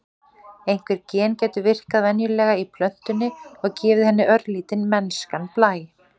einhver gen gætu virkað venjulega í plöntunni og gefið henni örlítinn mennskan blæ